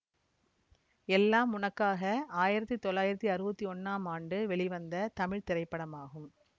எல்லாம் உனக்காக ஆயிரத்தி தொள்ளாயிரத்தி அறுவத்தி ஒன்னாம் ஆண்டு வெளிவந்த தமிழ் திரைப்படமாகும்